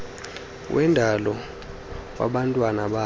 wendalo wabantwana bakhe